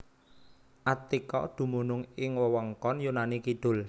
Attika dumunung ing wewengkon Yunani kidul